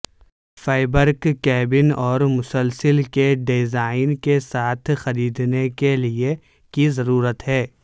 fabric cabin اور مسلسل کے ڈیزائن کے ساتھ خریدنے کے لئے کی ضرورت ہے